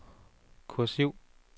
kursiv